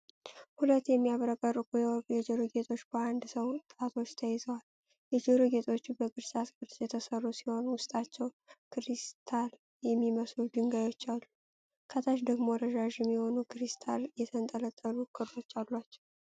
ሁለት የሚያብረቀርቁ የወርቅ የጆሮ ጌጦች በአንድ ሰው ጣቶች ተይዘዋል። የጆሮ ጌጦቹ በቅርጫት ቅርጽ የተሠሩ ሲሆን፤ ውስጣቸው ክሪስታል የሚመስሉ ድንጋዮች አሉ። ከታች ደግሞ ረዣዥም የሆኑ ክሪስታል የተንጠለጠሉ ክሮች አሏቸው።